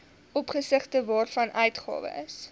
opsigte waarvan uitgawes